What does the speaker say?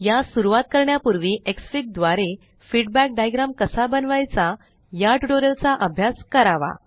यास सुरवात करण्यापूर्वी एक्सफिग द्वारे फीडबॅक डायग्राम कसा बनवायचा या ट्यूटोरियल चा अभ्यास करावा